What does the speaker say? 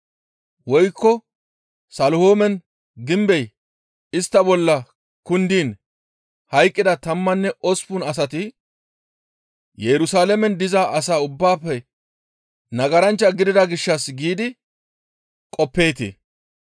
Woykko Selihoomen gimbey istta bolla kundiin hayqqida tammanne osppun asati Yerusalaamen diza asaa ubbaafe nagaranchcha gidida gishshas giidi qoppeetii?